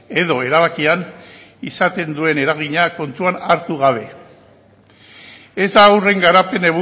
edo erabakian izaten duen eragina kontuan hartu gabe ez da haurren garapen